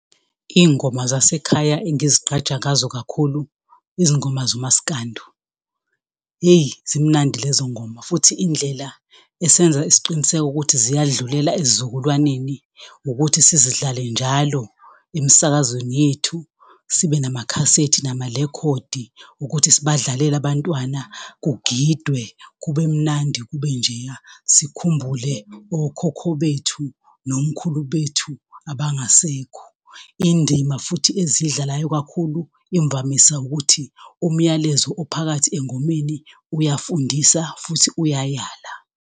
Izingoma zasekhaya engizigqaja ngazo kakhulu, izingoma zomasikandu, hheyi, zimnandi lezo ngoma, futhi indlela esenza isiqiniseko ukuthi ziyadlulela ezizukulwaneni, ukuthi sizidlale njalo emsakazweni yethu, sibe namakhasethi namalekhodi ukuthi sibadlalele abantwana, kugidwe kube mnandi, kube njeya, sikhumbule okhokho bethu nomkhulu bethu abangasekho. Indima futhi eziyidlalayo kakhulu imvamisa ukuthi umyalezo ophakathi engomeni uyafundisa futhi uyayala